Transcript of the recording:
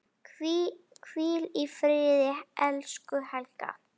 Hvíl í friði, elsku Helga.